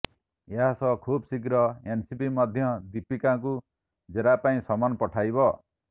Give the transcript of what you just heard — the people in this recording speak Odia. ଏହା ସହ ଖୁବଶୀଘ୍ର ଏନସିବି ମଧ୍ୟ ଦୀପିକାଙ୍କୁ ଜେରା ପାଇଁ ସମନ ପଠାଇବ